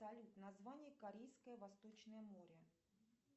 салют название корейское восточное море